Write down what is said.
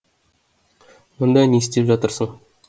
мұнда не істеп жатырсын